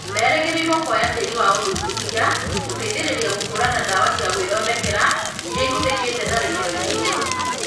Merĩgĩrĩirwo kwoya tĩri wa ũthuthuria gũteithĩrĩria gũkũrana ndawa cia gwĩthondekera iria ihũthĩkĩte tharĩkĩro-inĩ ĩyo